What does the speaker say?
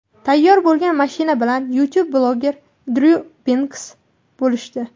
Tayyor bo‘lgan mashina bilan YouTube-bloger Dryu Binksi bo‘lishdi .